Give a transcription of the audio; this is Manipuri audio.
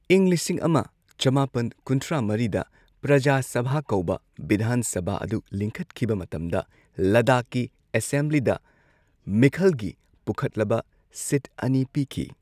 ꯏꯪ ꯂꯤꯁꯤꯡ ꯑꯃ ꯆꯃꯥꯄꯟ ꯀꯨꯟꯊ꯭ꯔꯥ ꯃꯔꯤꯗ ꯄ꯭ꯔꯖꯥ ꯁꯚꯥ ꯀꯧꯕ ꯕꯤꯙꯥꯟ ꯁꯚꯥ ꯑꯗꯨ ꯂꯤꯡꯈꯠꯈꯤꯕ ꯃꯇꯝꯗ ꯂꯗꯥꯈꯀꯤ ꯑꯦꯁꯦꯝꯕ꯭ꯂꯤꯗ ꯃꯤꯈꯜꯒꯤ ꯄꯨꯈꯠꯂꯕ ꯁꯤꯠ ꯑꯅꯤ ꯄꯤꯈꯤ꯫